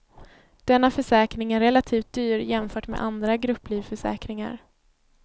Denna försäkring är relativt dyr jämfört med andra grupplivförsäkringar.